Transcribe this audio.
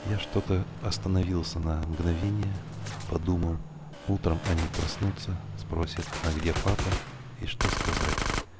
я что-то остановился на мгновение подумал утром они проснутся спросят а где папа и что сказать